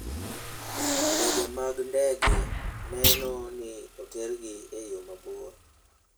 Ndege mag ndege neno ni otergi e yo maber.